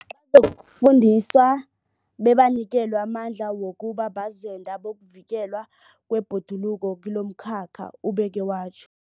Bazokufundiswa bebanikelwe amandla wokuba bazenda bokuvikelwa kwebhoduluko kilomkhakha, ubeke watjho.